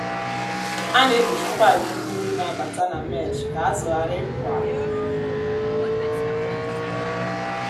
a na-ekpuchi paịpụ mmiri na-abata na mesh ka azụ ghara ịpụ apụ.